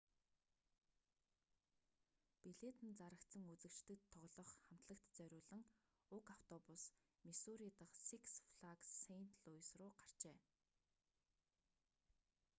билет нь зарагдсан үзэгчдэд тоглох хамтлагт зориулан уг автобус миссури дахь сикс флагс сэйнт луйс рүү гарчээ